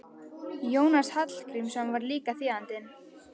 Jónas Hallgrímsson var líka þýðandi.